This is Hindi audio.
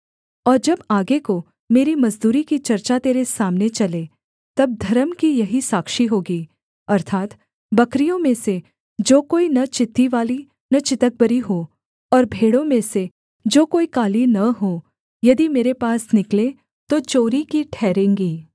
और जब आगे को मेरी मजदूरी की चर्चा तेरे सामने चले तब धर्म की यही साक्षी होगी अर्थात् बकरियों में से जो कोई न चित्तीवाली न चितकबरी हो और भेड़ों में से जो कोई काली न हो यदि मेरे पास निकलें तो चोरी की ठहरेंगी